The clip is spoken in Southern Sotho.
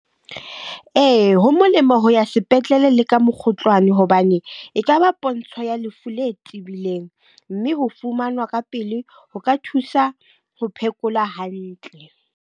Ee, ho molemo ho ya sepetlele le ka mokgotlwane hobane e kaba pontsho ya lefu le tebileng. Mme ho fumanwa ka pele ho ka thusa ho phekola hantle.